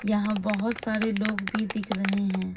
यहां बहोत सारे लोग भी दिख रहे हैं।